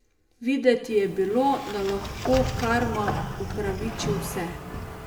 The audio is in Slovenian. Videti je bilo, da lahko karma upraviči vse.